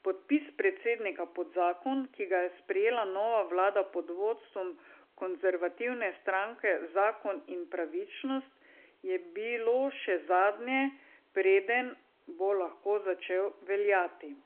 Podpis predsednika pod zakon, ki ga je sprejela nova vlada pod vodstvom konservativne stranke Zakon in pravičnost, je bilo še zadnje, preden bo lahko začel veljati.